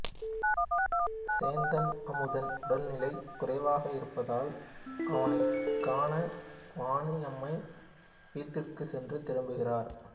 சேந்தன் அமுதன் உடல்நிலை குறைவாக இருப்பதால் அவனைக் காண வாணியம்மை வீட்டிற்குச் சென்று திரும்புகிறார்